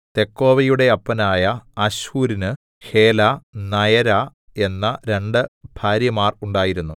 തെക്കോവയുടെ അപ്പനായ അശ്ഹൂരിന് Helah Naarah എന്ന രണ്ടു ഭാര്യമാർ ഉണ്ടായിരുന്നു